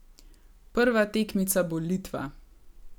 Prva tekmica bo Litva.